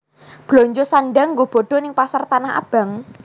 Blonjo sandhang nggo bodo ning Pasar Tanah Abang